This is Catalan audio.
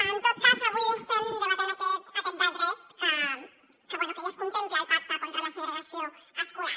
en tot cas avui estem debatent aquest decret que bé ja es contempla al pacte contra la segregació escolar